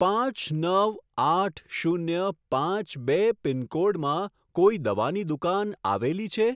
પાંચ નવ આઠ શૂન્ય પાંચ બે પિનકોડમાં કોઈ દવાની દુકાન આવેલી છે?